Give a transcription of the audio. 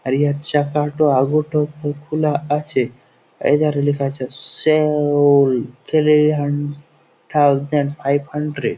আর ইয়ে চাপাটা আলোতে একটু খোলা আছেএইধারে লেখা আছে সেলললল থ্রী হান থাউসেন্ড ফাইভ হান্ড্রেড ।